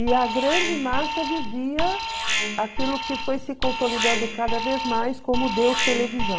E a grande massa vivia aquilo que foi se consolidando cada vez mais como Deus televisão.